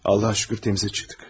Allaha şükür təmizə çıxdıq.